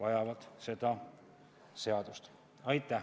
Aitäh!